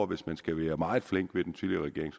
hvis man skal være meget flink ved den tidligere regering